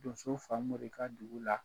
Donso Famori ka dugu la